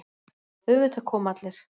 Auðvitað koma allir.